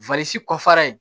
kɔfara in